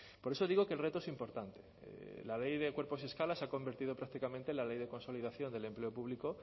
por eso digo que el reto es importante la ley de cuerpos y escalas se ha convertido prácticamente en la ley de consolidación del empleo público